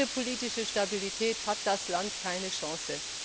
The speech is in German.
Ohne politische Stabilität hat das Land keine Chance.